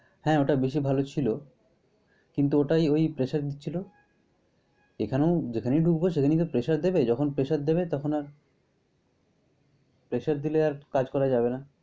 হ্যাঁ ওটা বেশী ভালো ছিল। কিন্তু ওটাই ওই pressure দিচ্ছিল। এখানেও যেখানে ঢুকব সেখানেই তো pressure দিবে। যখন pressure দিবে তখন আর pressure দিলে আর কাজ করা যাবে না।